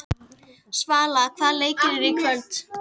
Svala, hvaða leikir eru í kvöld?